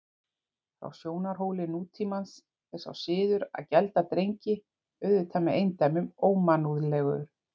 Frá sjónarhóli nútímans er sá siður að gelda drengi auðvitað með eindæmum ómannúðlegur.